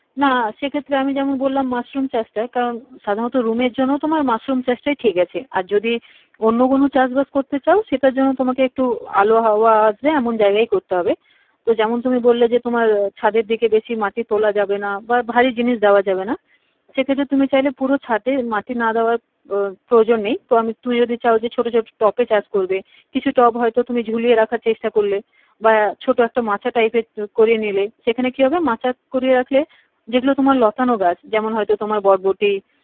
প্রয়োজন নেই তো আমি তুমি যদি চাও তো যে ছোট ছোট টবে চাষ করবে কিছু টব হয় তো তুমি ঝুলিয়ে রাখার চেষ্টা করলে বা ছোট একটা মাচা type এর করে নিলে এখানে কি হবে মাচা করে রাখলে যে গুলো তোমার লতানো গাছ যেমন তোমার হয় তো বরবটি